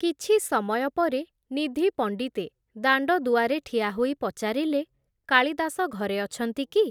କିଛି ସମୟ ପରେ ନିଧି ପଣ୍ଡିତେ ଦାଣ୍ଡଦୁଆରେ ଠିଆହୋଇ ପଚାରିଲେ, କାଳିଦାସ ଘରେ ଅଛନ୍ତି କି ।